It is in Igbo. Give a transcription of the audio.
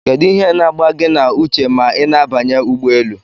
Kedu ihe na agba gi na uche ma ina abanye ụgbọelu?